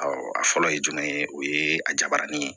a fɔlɔ ye jumɛn ye o ye a jabaranin ye